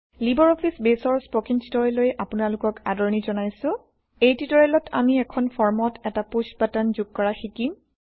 Libre Office বেইছৰ spoken টিউটৰিয়েললৈ আপোনালোকক আদৰনি160জনাইছোঁ এই টিউটৰিয়েলত আমি এখন ফৰ্মত এটা পুশ্ব বাটন যোগ কৰা শিকিম